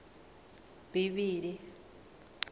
bivhili